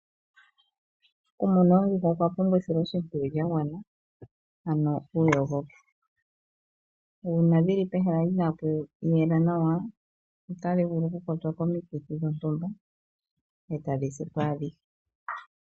Okumuna oondjuhwa okwa pumbwa esiloshimpwiyu lya gwana ano uuyogoki. Uuna dhili pe hala inaapu yela nawa otadhi vulu oku kwatwa komikithi dhontumba eta dhi sipo adhihe.